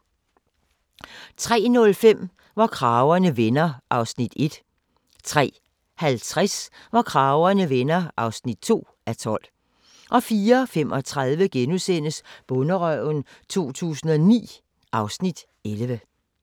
03:05: Hvor kragerne vender (1:12) 03:50: Hvor kragerne vender (2:12) 04:35: Bonderøven 2009 (Afs. 11)*